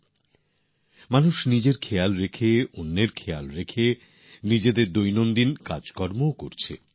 সাধারণ মানুষ নিজের প্রতি খেয়াল রাখার পাশাপাশি অন্যের জন্যও ভাবছেন দৈনন্দিন কাজকর্ম চালিয়ে যাচ্ছেন